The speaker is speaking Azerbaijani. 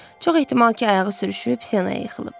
Çox ehtimal ki, ayağı sürüşüb sinəyə yıxılıb.